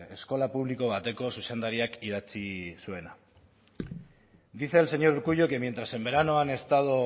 eskola publiko bateko zuzendariak idatzi zuena dice el señor urkullu que mientras en verano han estado